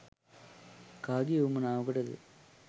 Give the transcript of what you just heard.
කාගේ වුවමනාවකටද?